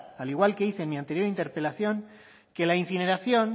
al igual que hice en mi anterior interpelación que la incineración